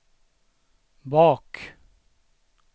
bak